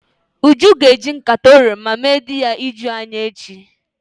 Uju ga-eji nkata oroma mee di ya ijuu anya echi.